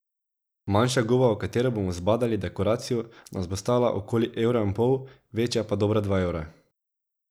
Manjša goba, v katero bomo zabadali dekoracijo, nas bo stala okoli evra in pol, večja pa dobra dva evra.